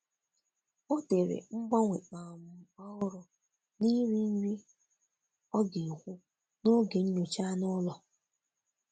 Ọ dere mgbanwe um ọhụrụ n'ịri nri ọga ekwụ n'oge nyocha anụ ụlọ.